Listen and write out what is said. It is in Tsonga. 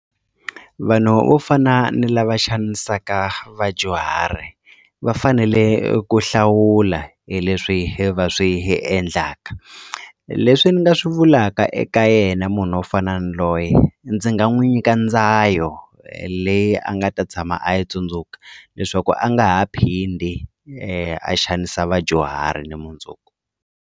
Vanhu vo fana ni lava xanisaka vadyuhari va fanele eku hlawula leswi va swi endlaka leswi ni nga swi vulaka eka ka yena munhu wo fana ni loye ndzi nga n'wi nyika ndzayo leyi a nga ta tshama a yi tsundzuka leswaku a nga ha phindi a xanisa vadyuhari ni mundzuku.